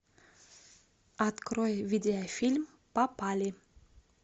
открой видеофильм попали